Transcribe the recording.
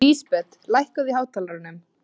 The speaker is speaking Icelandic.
Lísbet, lækkaðu í hátalaranum.